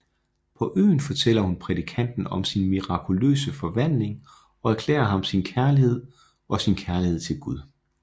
På øen fortæller hun prædikanten om sin mirakuløse forvandling og erklærer ham sin kærlighed og sin kærlighed til Gud